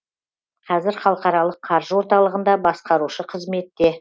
қазір халықаралық қаржы орталығында басқарушы қызметте